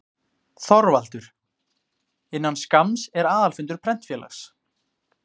ÞORVALDUR: Innan skamms er aðalfundur Prentfélags